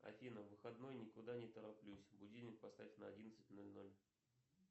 афина выходной никуда не тороплюсь будильник поставь на одиннадцать ноль ноль